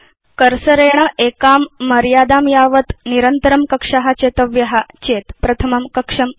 cursor इत्यनेन एकां मर्यादां पर्यन्तं निरन्तरं कक्षा चेतव्या चेत् प्रथमं कक्षं नुदतु